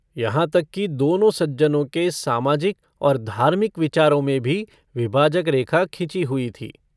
यहाँ तक कि दोनों सज्जनों के सामाजिक और धार्मिक विचारों में भी विभाजक रेखा खिंची हुई थी।